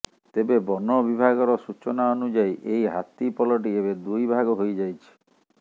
ତେବେ ବନବିଭାଗର ସୁଚନା ଅନୁଯାୟୀ ଏହି ହାତୀ ପଲଟି ଏବେ ଦୁଇ ଭାଗ ହୋଇ ଯାଇଛି